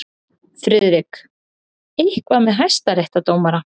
FRIÐRIK: Eitthvað með hæstaréttardómara.